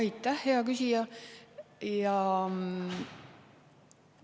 Aitäh, hea küsija!